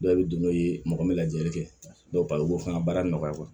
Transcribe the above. Dɔw bɛ don n'o ye mɔgɔ min lajɛli kɛ dɔw ba ye o b'o fana baara nɔgɔya